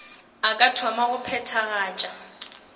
a ka thoma go phethagatša